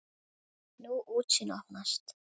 Ný útsýn opnast.